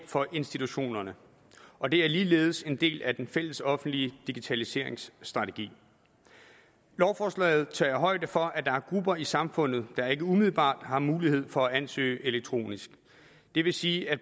for institutioner og det er ligeledes en del af den fælles offentlige digitaliseringsstrategi lovforslaget tager højde for at der er grupper i samfundet der ikke umiddelbart har mulighed for at ansøge elektronisk og det vil sige at